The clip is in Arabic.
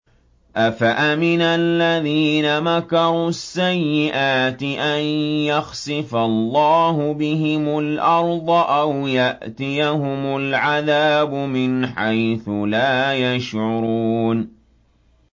أَفَأَمِنَ الَّذِينَ مَكَرُوا السَّيِّئَاتِ أَن يَخْسِفَ اللَّهُ بِهِمُ الْأَرْضَ أَوْ يَأْتِيَهُمُ الْعَذَابُ مِنْ حَيْثُ لَا يَشْعُرُونَ